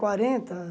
Quarenta